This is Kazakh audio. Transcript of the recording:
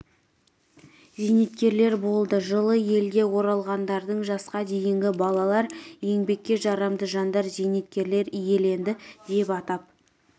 зейнеткерлер болды жылы елге оралғандардың жасқа дейінгі балалар еңбекке жарамды жандар зейнеткерлер иеленді деп атап